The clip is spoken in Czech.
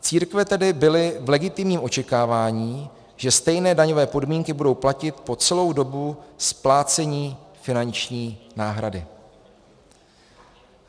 Církve tedy byly v legitimním očekávání, že stejné daňové podmínky budou platit po celou dobu splácení finanční náhrady.